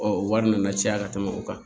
Ɔ o wari nana caya ka tɛmɛ o kan